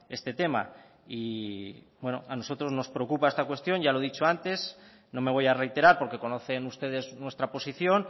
este tema y bueno a nosotros nos preocupa esta cuestión ya lo he dicho antes no me voy a reiterar porque conocen ustedes nuestra posición